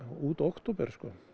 út október